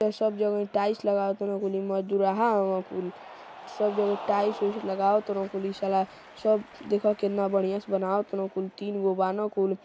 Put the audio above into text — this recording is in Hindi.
यहाँ सब जगह टाईल्स लगावत तन कुल। ई मजदूरहा हउअन कुल। सब जगह टाईल्स वीलस लगात न कुल। ई साला वाला सब देखअ केनता बढ़िया से बनातने कुल तिनगो बाना कुल।